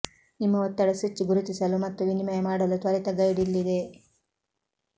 ನಿಮ್ಮ ಒತ್ತಡ ಸ್ವಿಚ್ ಗುರುತಿಸಲು ಮತ್ತು ವಿನಿಮಯ ಮಾಡಲು ತ್ವರಿತ ಗೈಡ್ ಇಲ್ಲಿದೆ